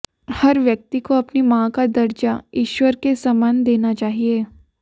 हर व्यक्ति को अपनी मां का दर्जा ईश्वर के समान देना चाहिए